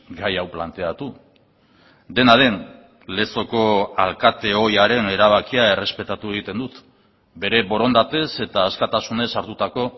gai hau planteatu dena den lezoko alkate ohiaren erabakia errespetatu egiten dut bere borondatez eta askatasunez hartutako